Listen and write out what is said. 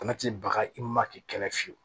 Bana ti baga i ma k'i kɛlɛ fiyewu